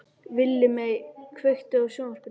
Villimey, kveiktu á sjónvarpinu.